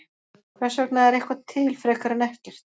Hvers vegna er eitthvað til frekar en ekkert?